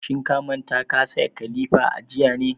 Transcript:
Shin ka manta ka saya kilifa jiya ne?